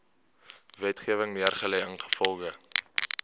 wetgewing neergelê ingevolge